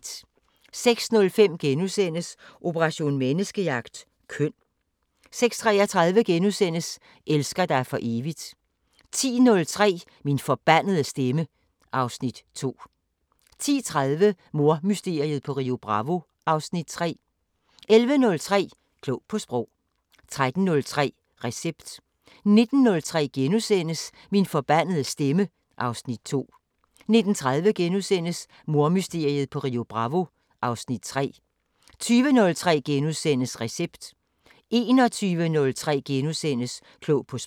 06:05: Operation Menneskejagt: Køn * 06:33: Elsker dig for evigt * 10:03: Min forbandede stemme (Afs. 2) 10:30: Mordmysteriet på Rio Bravo (Afs. 3) 11:03: Klog på Sprog 13:03: Recept 19:03: Min forbandede stemme (Afs. 2)* 19:30: Mordmysteriet på Rio Bravo (Afs. 3)* 20:03: Recept * 21:03: Klog på Sprog *